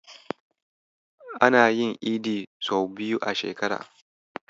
Ana yin Idi sau biyu a shekara.